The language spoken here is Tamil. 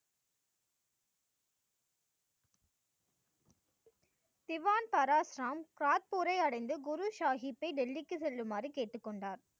திவான் பரஷ் ராம் காட்புரை அடைந்து குரு சாஹிபை டெல்லிக்கு செல்லுமாறு கேட்டு கொண்டார்.